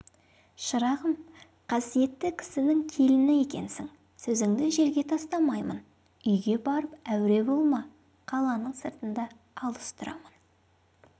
шырағым қасиетті кісінің келіні екенсің сөзіңді жерге тастамаймын үйге барып әуре болма қаланың сыртында алыс тұрамын